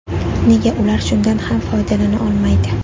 Nega ular shundan ham foydalana olmaydi?